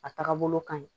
A taaga bolo ka ɲi